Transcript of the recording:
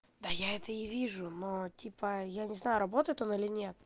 да я это и вижу но типа я не знаю работает он или нет